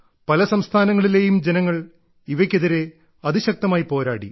പല സംസ്ഥാനങ്ങളിലേയും ജനങ്ങൾ ഇവയ്ക്കെതിരെ അതിശക്തമായി പോരാടി